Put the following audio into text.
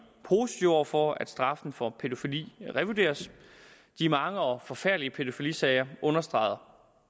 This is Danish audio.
positive over for at straffen for pædofili revurderes de mange og forfærdelige pædofilisager understreger